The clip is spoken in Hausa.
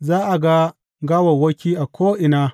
Za a ga gawawwaki a ko’ina!